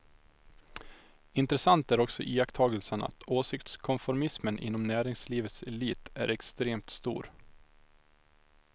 Intressant är också iakttagelsen att åsiktskonformismen inom näringslivets elit är extremt stor.